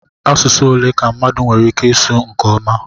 Asụsụ ole ka mmadụ nwere ike ịsụ nke ọma?